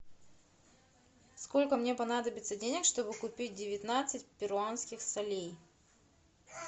сколько мне понадобится денег чтобы купить девятнадцать перуанских солей